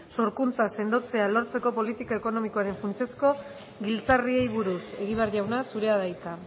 sorkuntza sendotzea lortzeko politika ekonomikoaren funtsezko giltzarriei buruz egibar jauna zurea da hitza